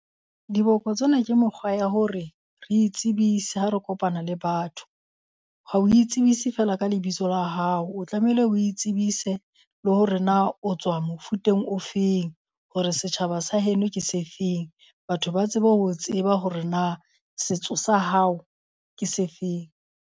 Diboko tsena ke mokgwa ya hore re itsebise ha re kopana le batho. Ha o itsebise feela ka lebitso la hao, o tlamehile o itsebise le hore na o tswa mofuteng ofeng hore setjhaba sa heno ke se feng. Batho ba tsebe ho tseba hore na setso sa hao ke sefeng.